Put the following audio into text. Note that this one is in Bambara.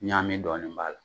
Ɲa mi dɔɔni b'a la